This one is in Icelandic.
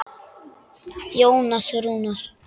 Jónas Rúnar.